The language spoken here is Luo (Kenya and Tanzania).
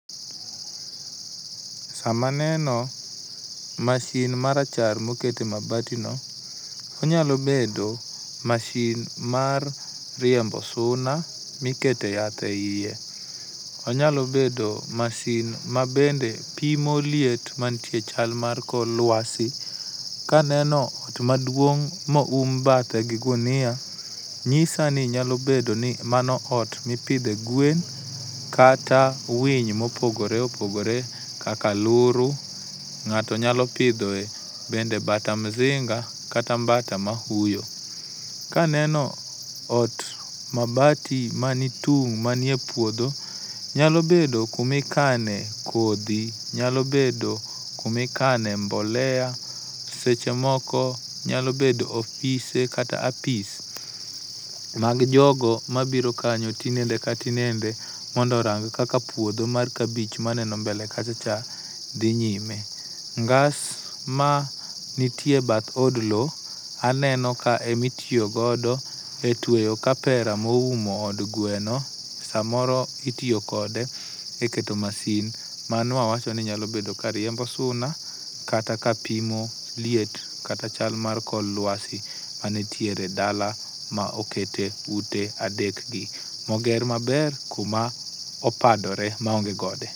Sama aneno mashin marachar ma oket e mabatino, onyalo bedo masin mar riembo suna, mikete yath eiye, onyalo bedo masin mabende pimo liet mantie e chal mar kor luasi, ka aneno ot maduong' ma eoum bathe gi gunia nyisa ni mano ot mipidhe gwen kata winy mopogoro kaka aluru, kata mbata msinga kata mbata mafuyo. Kaneno ot mabati manitung' manie puodho nyalo bedo kuma ikane kodhi, nyalo bedo kuma ikane mbolea seche moko nyalo bedo ofise kata apis mag jogo mabiro kanyo tinende ka tinende mondo orang kaka puodho mar kabich maneno mbele kacha cha dhi nyime. Ngas mantie ebath od lowo, aneno ka ema itiyo godo etuey kaera moumo od gweno, samoro iiyo kode eketo masin mano wawacho ni nyalo bed ka riembo suna kata kapimo liet kata chal mar kor luasi manitiere e dala maokete ute adek gi moger maber kuma opadore maonge gode.